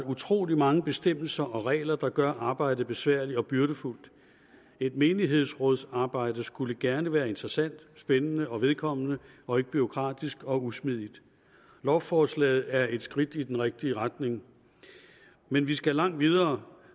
utrolig mange bestemmelser og regler der gør arbejdet besværligt og byrdefuldt et menighedsrådsarbejde skulle gerne være interessant spændende og vedkommende og ikke bureaukratisk og usmidigt lovforslaget er et skridt i den rigtige retning men vi skal langt videre